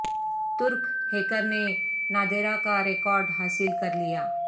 ترک ہیکر نے نادرا کا ریکارڈ حاصل کر لیا